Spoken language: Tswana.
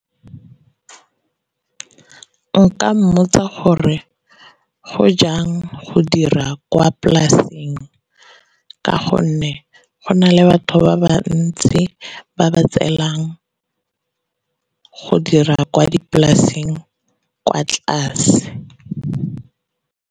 Ke nka mmotsa gore go jang go dira kwa polasing ka gonne, go na le batho ba ba ntsi ba ba tseelang go dira kwa dipolaseng kwa tlase.